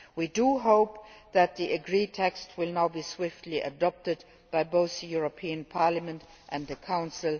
We hope that the agreed text will now be swiftly adopted by both the European Parliament and the Council.